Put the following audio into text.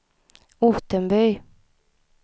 Ottenby